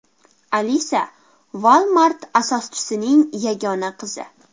Alisa Walmart asoschisining yagona qizi.